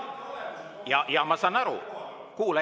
Jaa, ma saan aru, kuula!